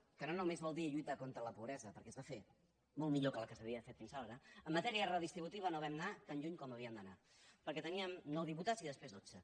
que no només vol dir lluitar contra la pobresa perquè es va fer molt millor que la que s’havia fet fins aleshores en matèria redistributiva no vam anar tan lluny com havíem d’anar perquè teníem nou diputats i després dotze